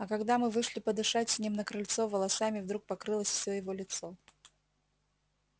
а когда мы вышли подышать с ним на крыльцо волосами вдруг покрылось всё его лицо